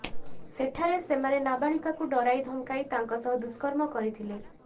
ସେଠାରେ ସେମାନେ ନାବାଳିକାକୁ ଡରାଇ ଧମକାଇ ତାଙ୍କ ସହ ଦୁଷ୍କର୍ମ କରିଥିଲେ